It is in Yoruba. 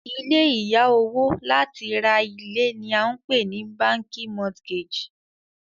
ilé ìya owo láti ra ilé ni a npe ni bánkì mortgage